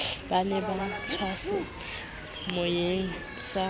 ba ne ba tswaseyalemoyeng sa